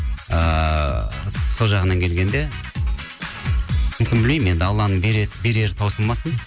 ыыы сол жағынан келгенде мүмкін білмеймін енді алланың берері таусылмасын